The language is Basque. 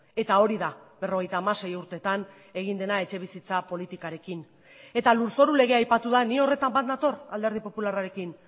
eta hori da berrogeita hamasei urtetan egin dena etxebizitza politikarekin eta lurzoru legea aipatu da ni horretan bat nator alderdi popularrarekin